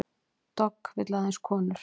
Dogg vill aðeins konur